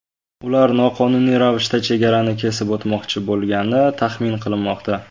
Ular noqonuniy ravishda chegarani kesib o‘tmoqchi bo‘lgani taxmin qilinmoqda.